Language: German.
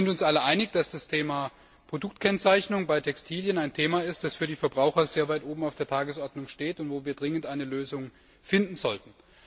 Wir sind uns alle einig, dass das Thema Produktkennzeichnung bei Textilien ein Thema ist, das für die Verbraucher sehr weit oben auf der Tagesordnung steht und für das wir dringend eine Lösung finden sollten.